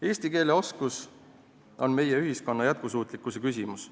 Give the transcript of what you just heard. Eesti keele oskus on meie ühiskonna jätkusuutlikkuse küsimus.